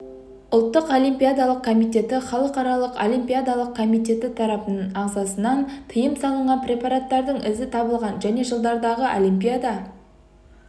ұлттық олимпиадалық комитеті халықаралық олимпиадалық комитеті тарапынан ағзасынан тыйым салынған препараттардың ізі табылған және жылдардағы олимпиада